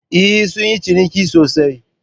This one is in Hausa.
Eh, sun yi ciniki sosai